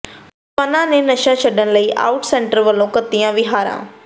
ਨੌਜਵਾਨਾਂ ਨੇ ਨਸ਼ਾ ਛੱਡਣ ਲਈ ਓਟ ਸੈਂਟਰ ਵੱਲ ਘੱਤੀਆਂ ਵਹੀਰਾਂ